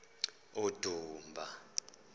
udumba